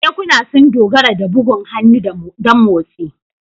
Kekuna sun dogara da bugun hannu don motsi.